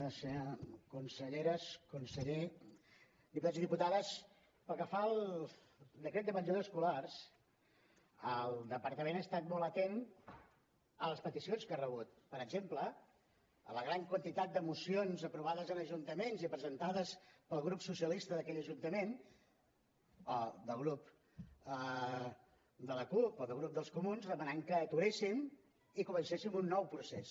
senyores conselleres conseller diputats i diputades pel que fa al decret de menjadors escolars el departament ha estat molt atent a les peticions que ha rebut per exemple a la gran quantitat de mocions aprovades en ajuntaments i presentades pel grup socialista d’aquell ajuntament o pel grup de la cup o pel grup dels comuns demanant que ho aturéssim i comencéssim un nou procés